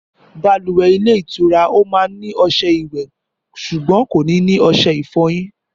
Bàlùwẹ̀ ilé ìtura ọ̀hún máa ní ọṣẹ ìwẹ̀ ṣùgbọ́n kò ní ní ọṣẹ ìfọyín